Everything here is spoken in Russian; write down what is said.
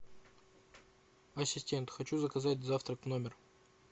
ассистент хочу заказать завтрак в номер